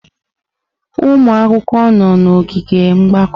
Ụmụ akwụkwọ nọ n'ogige mgbakọ.